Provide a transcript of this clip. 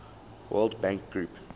world bank group